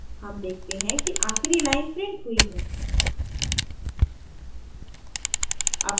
हम देखते हैं कि आखिरी line printed हुई है